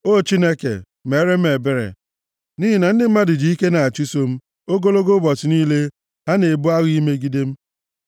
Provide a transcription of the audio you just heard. O Chineke, meere m ebere, nʼihi na ndị mmadụ ji ike na-achụso m; ogologo ụbọchị niile, ha na-ebu agha imegide m.